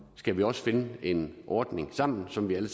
skal vi også finde en ordning sammen som vi alle